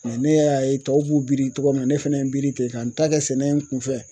ne y'a ye tɔw b'u biri togo min na ne fɛnɛ ye n biri ten ka n ta kɛ sɛnɛ ye n kun fɛ.